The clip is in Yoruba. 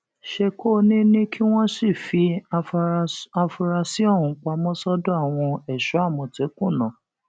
ṣèkónì ni kí wọn sì fi àfúrásì ọhún pamọ sọdọ àwọn èso àmọtẹkùn ná